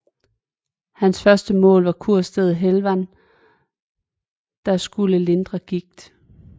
Hans første mål var kurstedet Helwan der skulle lindre gigt